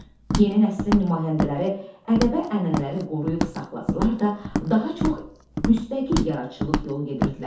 Yeni nəslin nümayəndələri ədəbi ənənələri qoruyub saxlasalar da, daha çox müstəqil yaradıcılıq yolu gedirdilər.